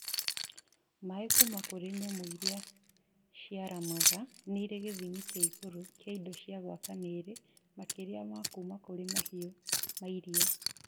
Mai Kuma kũrĩ nyamũ iria ciaramaga nĩirĩ gĩthimi kĩa igũrũ kĩa indo cia gwaka mwĩrĩ makĩria ma kuuma kũrĩ mahiũ ma iria